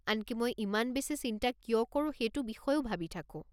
আনকি মই ইমান বেছি চিন্তা কিয় কৰো সেইটো বিষয়েও ভাবি থাকো।